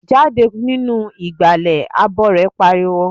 Jáde nínú ìgbàlẹ̀! Abọrẹ̀ pariwo.